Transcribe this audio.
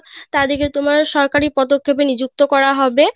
তাদের কে তোমার সরকারি পদক্ষেপে নি্যুক্ত করা হবে